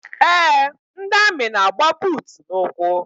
Eé, ndị amị na-agba buutu n'ụkwụ.